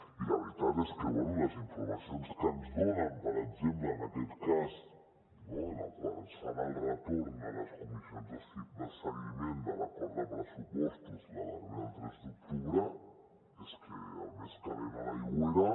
i la veritat és que bé les informacions que ens donen per exemple en aquest cas no en el qual ens fan el retorn a les comissions de seguiment de l’acord de pressupostos la darrera el tres d’octubre és que el més calent a l’aigüera